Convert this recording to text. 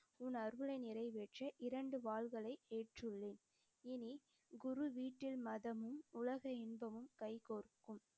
உன் அருளை நிறைவேற்ற இரண்டு வாள்களை ஏற்றுள்ளேன். இனி குரு வீட்டில் மதமும், உலக இன்பமும் கைகோர்க்கும்.